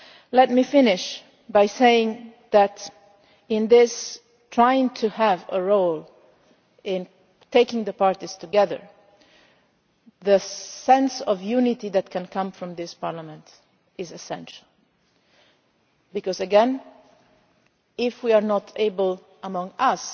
Let me finish by saying that in trying to have a role in bringing the parties together, the sense of unity that can come from this Parliament is essential, because again, if we are not able